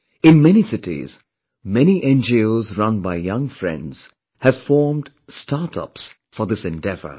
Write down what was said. In many cities, many NGOs run by young friends have formed Startups for this endeavor